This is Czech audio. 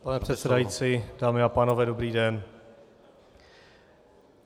Pane předsedající, dámy a pánové, dobrý den.